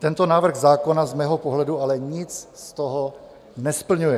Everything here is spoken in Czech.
Tento návrh zákona z mého pohledu ale nic z toho nesplňuje.